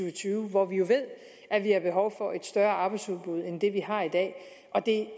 og tyve hvor vi jo ved at vi har behov for et større arbejdsudbud end det vi har i dag og det